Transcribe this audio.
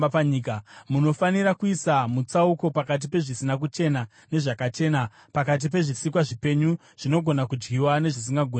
Munofanira kuisa mutsauko pakati pezvisina kuchena nezvakachena, pakati pezvisikwa zvipenyu zvinogona kudyiwa nezvisingagoni kudyiwa.’ ”